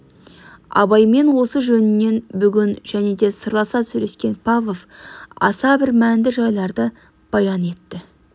абаймен осы жөнінен бүгін және де сырласа сөйлескен павлов аса бір мәнді жайларды баян етті